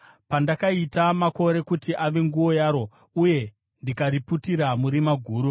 pandakaita makore kuti ave nguo yaro, uye ndikariputira murima guru,